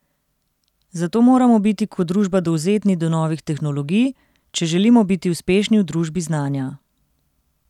Zato moramo biti kot družba dovzetni do novih tehnologij, če želimo biti uspešni v družbi znanja.